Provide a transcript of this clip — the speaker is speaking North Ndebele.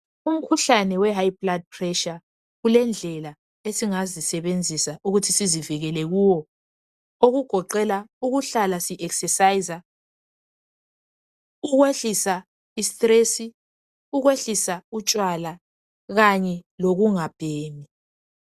Umkhuhlane wehigh blood pressure kulendlel esingazisebenzisa ukuthi sizivikele kuwo okugoqela ukuhlal sizelula imizimba, ukwehlisa istress, ukwehlisa utshwala kanye lokungabhemi.